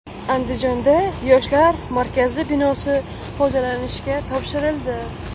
Andijonda Yoshlar markazi binosi foydalanishga topshirildi.